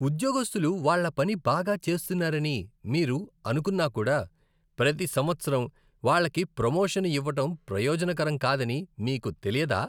ఉద్యోగస్తులు వాళ్ళ పని బాగా చేస్తున్నారని మీరు అనుకున్నా కూడా, ప్రతి సంవత్సరం వాళ్ళకి ప్రమోషన్ ఇవ్వటం ప్రయోజనకరం కాదని మీకు తెలియదా?